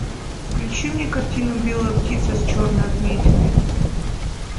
включи мне картину белая птица с черной отметиной